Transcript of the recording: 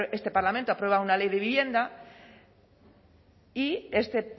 este parlamento se aprueba una ley de vivienda y este